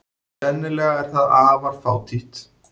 Sennilega er það afar fátítt.